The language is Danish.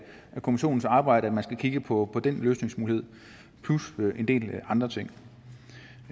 kommissionens arbejde at man skal kigge på den løsningsmulighed plus en del andre ting